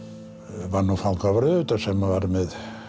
var nú fangavörður auðvitað sem var með